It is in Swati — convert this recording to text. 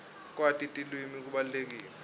kwati tilwimi kubalulekile